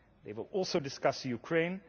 They will also discuss Ukraine.